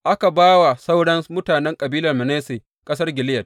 Aka ba wa sauran mutanen kabilar Manasse ƙasar Gileyad.